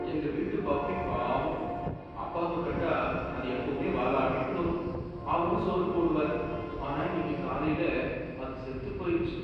எங்க வீட்டு பப்பி பாவம்! அப்பாவ கண்டா அது எப்பவுமே வாலாட்டிட்டு வரும், அவரும் சோறு போடுவாரு, ஆனா இன்னிக்கு காலைல அது செத்துப் போயிருச்சு.